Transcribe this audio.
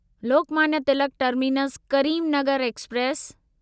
Lokmanya Tilak terminus Karimnagar express